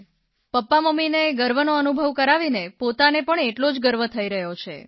પપ્પામમ્મીને ગર્વનો અનુભવ કરાવીને પોતાને પણ એટલો જ ગર્વ થઇ રહ્યો છે